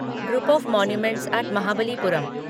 group of monuments at Mahabalipuram